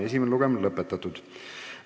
Esimene lugemine on lõpetatud.